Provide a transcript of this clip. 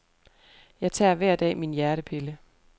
Jeg tager hver dag min hjertepille.